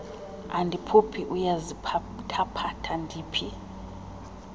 andiphuphi uyaziphathaphatha ndiphi